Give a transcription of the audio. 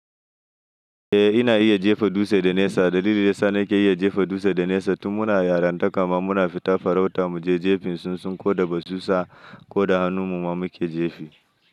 Eh ina iya jefa dutse da nesa. Dalilin da yasa nake iya jefa dutse da nesa tun muna yaranta kuma muna fita farauta muje jefin tsuntsun ko da basusa ko da hannun mu ma muke jefi.